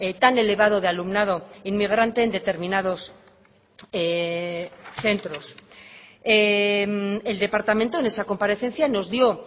tan elevado de alumnado inmigrante en determinados centros el departamento en esa comparecencia nos dio